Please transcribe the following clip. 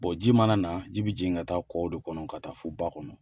Bɔ ji mana na, ji bɛ jigin ka taa kɔw de kɔnɔ, ka taa fɔ ba kɔnɔ.